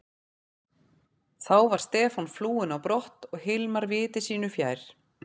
Þá var Stefán flúinn á brott og Hilmar viti sínu fjær.